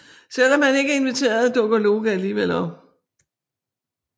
Selvom han ikke er inviteret dukker Loke alligevel op